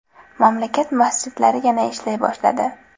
Mamlakat masjidlari yana ishlay boshladi .